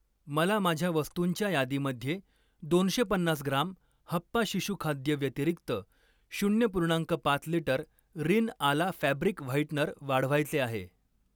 मला माझ्या वस्तुंच्या यादीमध्ये दोनशे पन्नास ग्राम हप्पा शिशु खाद्य व्यतिरिक्त शून्य पूर्णांक पाच litre Rin Ala fabric whitener वाढवायचे आहे.